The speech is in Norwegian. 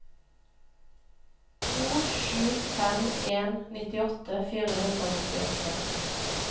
to sju fem en nittiåtte fire hundre og nittiåtte